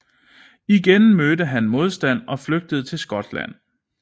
Igen mødte han modstand og flygtede til Skotland